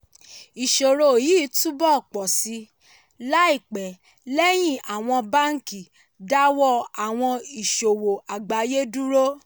ìṣòro yìí túbọ̀ pọ̀ sí i láìpẹ́ lẹ́yìn àwọn báńkì dáwọ́ àwọn ìsòwò àgbáyé dúró.